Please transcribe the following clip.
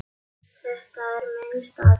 Þetta er minn staður.